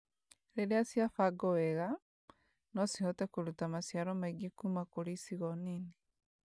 rĩrĩa ciabangũo wega, no cihote kũruta maciaro maingĩ kũma kũrĩ icigo nini